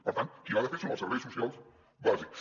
per tant qui l’ha de fer són els serveis socials bàsics